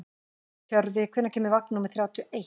Tjörfi, hvenær kemur vagn númer þrjátíu og eitt?